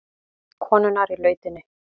Konurnar í lautinni.